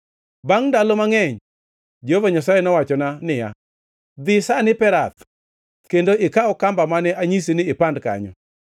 Bangʼ ndalo mangʼeny Jehova Nyasaye nowachona niya, “Dhi sani Perath kendo ikaw kamba mane anyisi ni ipand kanyo.”